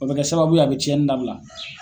O be kɛ sababu ye, a be ciɲɛni dabila.